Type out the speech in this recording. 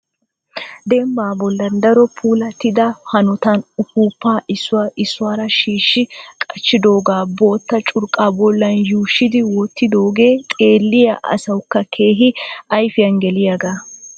Dembba bollan daro puilattida hanotan uppupa issuwaa issuwaara shiishshi qachchidooga bootta curqqaa bolla shuuyyidi wottidooge xeelliya asawukka keehippe ayfiyaan geliyaaga.